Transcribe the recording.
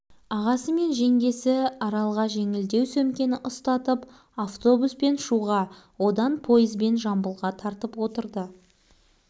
ағасы мен жеңгесі аралға жеңілдеу сөмкені ұстатып автобуспен шуға одан пойызбен жамбылға тартып отырды